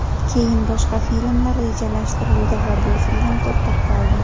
Keyin boshqa filmlar rejalashtirildi va bu film to‘xtab qoldi.